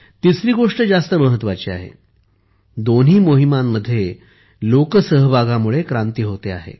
तिसरी गोष्ट जास्त महत्त्वाची आहे दोन्ही मोहिमांमध्ये लोकसहभागामुळे क्रांती होते आहे